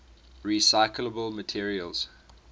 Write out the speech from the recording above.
recyclable materials